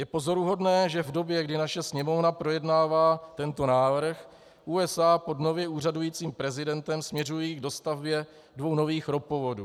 Je pozoruhodné, že v době, kdy naše Sněmovna projednává tento návrh, USA pod nově úřadujícím prezidentem směřují k dostavbě dvou nových ropovodů.